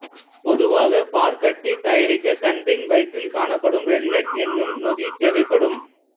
பொதுவாக பாற்கட்டி தயாரிக்க கன்றின் வயிற்றில் காணப்படும் ரென்னட் எனும் நொதி தேவைப்படும்